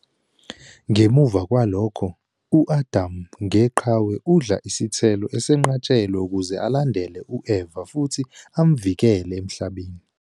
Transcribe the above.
Ngemuva kwalokho, u-Adam ngeqhawe udla isithelo esenqatshelwe ukuze alandele u-Eva futhi amvikele emhlabeni.